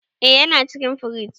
Eh yana cikin firij.